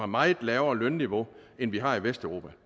meget lavere lønniveau end vi har i vesteuropa